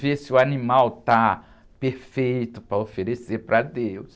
Ver se o animal está perfeito para oferecer para Deus.